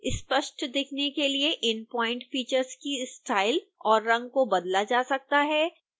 स्पष्ट दिखने के लिए इन प्वाइंट फीचर्स की स्टाइल और रंग को बदला जा सकता है